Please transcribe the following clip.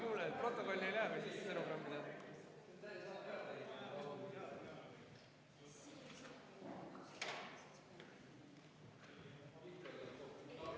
Nii, auväärt töökas kollektiiv!